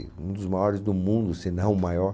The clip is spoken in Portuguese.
Um dos maiores do mundo, se não o maior.